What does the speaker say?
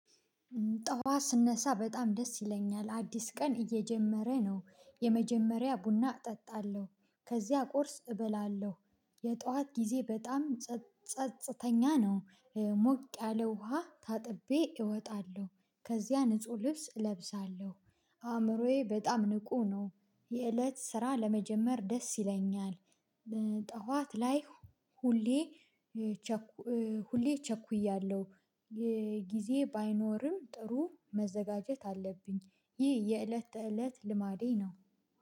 ጠዋት ስነሳ በጣም ደስ ይለኛል፣ አዲስ ቀን እየጀመረ ነው የመጀመሪያ ቡና እጠጣለሁ ከዚያ ቁርስ እበላለሁ የጧት ጊዜ በጣም ጸጽተኛ ነው። ሞቅ ያለ ውሃ ታጥቤ እወጣለሁ፣ ከዚያ ንጹህ ልብስ እለብሳለሁ። አእምሮዬ በጣም ንቁ ነው የእለት ስራ ለመጀመር ደስ ይለኛል። ጠዋት ላይ ሁሌ ሁሌ እቸኩያለሁ ጊዜ ባይኖርም ጥሩ መዘጋጀት አለብኝ ይህ የእለት ተእለት ልማዴ ነው።